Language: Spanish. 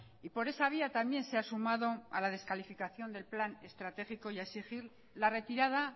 y por esa vía también se ha sumado a la descalificación del plan estratégico y a exigir la retirada